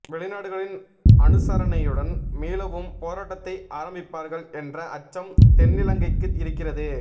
வெளிநாடுகளின் அனுசரணையுடன் மீளவும் போராட்டத்தை ஆரம்பிப்பார்கள் என்ற அச்சம் தென்னிலங்கைக்கு இருக்கிறது